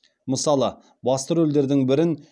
мысалы басты рөлдердің бірін